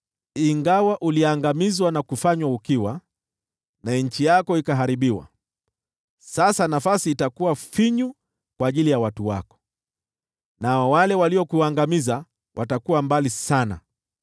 “Ingawa uliangamizwa na kufanywa ukiwa, na nchi yako ikaharibiwa, sasa nafasi itakuwa finyu kwa ajili ya watu wako, nao wale waliokuangamiza watakuwa mbali sana.